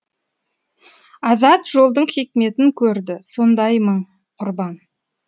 азат жолдың хикметін көрді сондай мың құрбан